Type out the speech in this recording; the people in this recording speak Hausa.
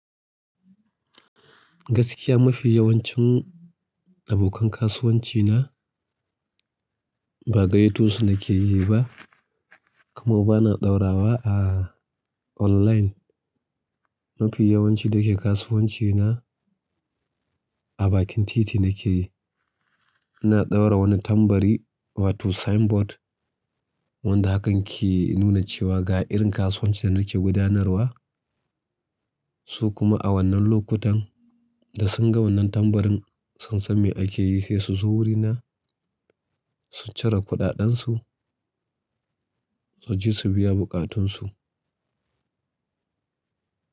Gaskiya mafi yawancin abokan kasuwanci na, ba gayyatu su nake yi ba, kuma ba na ɗaura wa a online. Mafi yawanci da ke kasuwanci na a bakin titi ne ke yi. Na ɗaura wani tambari wato signboard, wanda hakan ke nuna cewa ga irin kasuwancin da nake gudanarwa, su kuma a wannan lokutan da sun ga wannan tambarin sun san me ake yi sai su zo wurina, su cire kuɗaɗen su, su je su biya buƙatun su.